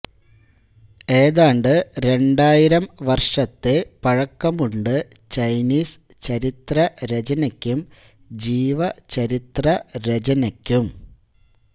ഏതാണ്ട് രണ്ടായിരം വർഷത്തെ പഴക്കമുണ്ട് ചൈനീസ് ചരിത്രരചനയ്ക്കും ജീവചരിത്ര രചനയ്ക്കും